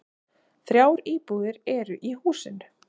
Þrjár íbúðir eru í húsinu.